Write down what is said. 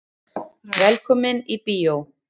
Velkomnir í bíó.